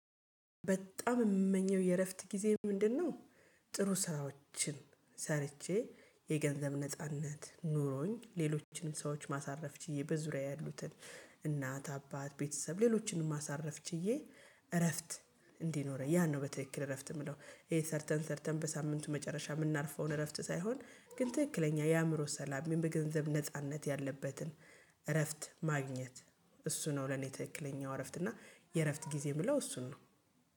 በጣም የምመኘው የእረፍት ጊዜ ምንድነው? ጥሩ ስራዎችን ሰርቼ የገንዘብ ነጻነት ኖሮኝ ሌሎችንም ሰዎች ማሳረፍ ችዬ በዙሪያዬ ያሉትን እናት አባት ቤተሰብ ሌሎችንም ማሳረፍ ችዬ እረፍት እንዲኖረኝ ያን ነው። በትክክል እረፍት የምለው ይሄ ሰርተን ሰርተን በሳምንቱ መጨረሻ የምናርፈውን እረፍት ሳይሆን ግን ትክክለኛ የአእምሮ ሰላም በገንዘብ ነጻነት ያለበትን እረፍት ማግኘት እሱ ነው። ለኔ ትክክለኛው እረፍት እና የእረፍት ጊዜ የምለው እሱን ነው